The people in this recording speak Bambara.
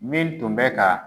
Min tun bɛ ka.